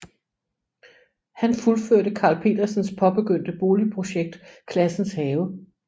Han fuldførte Carl Petersens påbegyndte boligprojekt Classens Have